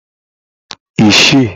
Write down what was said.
isii